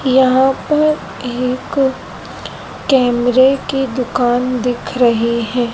यहां पर एक कैमरे की दुकान दिख रहीं हैं।